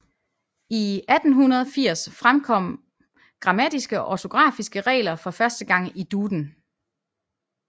I 1880 fremkom grammatiske og ortografiske regler for første gang i Duden